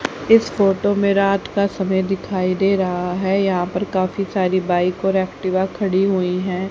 इस फोटो में रात का समय दिखाई दे रहा है यहां पर काफी सारी बाइक और एक्टिव खड़ी हुई हैं।